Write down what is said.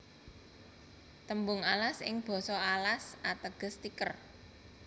Tembung alas ing basa Alas ateges tiker